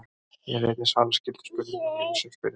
Hér er einnig svarað skyldum spurningum frá ýmsum spyrjendum.